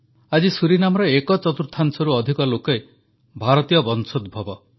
ଆଜି ସୁରିନାମର ଏକ ଚତୁର୍ଥାଂଶରୁ ଅଧିକ ଲୋକ ଭାରତୀୟ ବଂଶୋଦ୍ଭବ